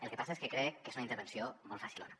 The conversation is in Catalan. el que passa és que crec que és una intervenció molt facilona